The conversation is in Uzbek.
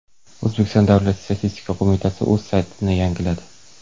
O‘zbekiston Davlat statistika qo‘mitasi o‘z saytini yangiladi.